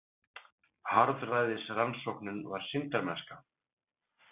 Harðræðisrannsóknin var sýndarmennska.